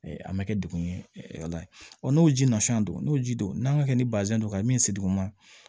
A ma kɛ dugun ye ala ye n'o ji nasɔnya don n'o ji don n'a ma kɛ ni bazɛn ye don ka min se duguma